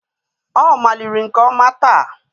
Ọ maliri nke ọma taa.